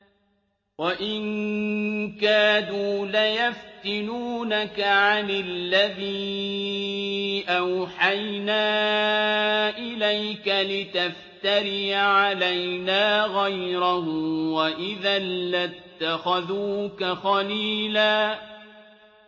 وَإِن كَادُوا لَيَفْتِنُونَكَ عَنِ الَّذِي أَوْحَيْنَا إِلَيْكَ لِتَفْتَرِيَ عَلَيْنَا غَيْرَهُ ۖ وَإِذًا لَّاتَّخَذُوكَ خَلِيلًا